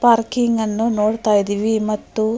parking ಅನ್ನ ನೋಡುತ ಇದ್ದಿವಿ ಮತ್ತು --